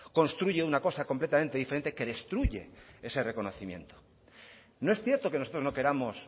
construye una cosa completamente diferente que destruye ese reconocimiento no es cierto que nosotros no queramos